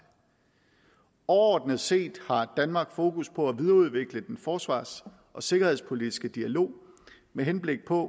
overordnet set har danmark fokus på at videreudvikle den forsvars og sikkerhedspolitiske dialog med henblik på